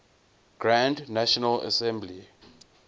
grand national assembly